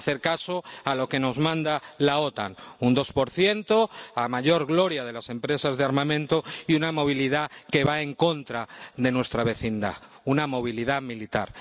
Hay que hacer caso a lo que nos manda la OTAN un 2 a mayor gloria de las empresas de armamento, y una movilidad que va en contra de nuestra vecindad, una movilidad militar.